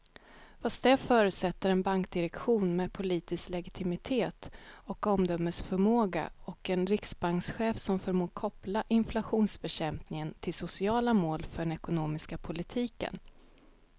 Fast det förutsätter en bankdirektion med politisk legitimitet och omdömesförmåga och en riksbankschef som förmår koppla inflationsbekämpning till sociala mål för den ekonomiska politiken.